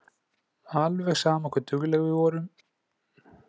Alveg sama hve dugleg við vorum.